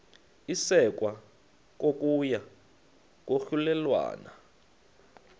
isekwa kokuya kwahlulelana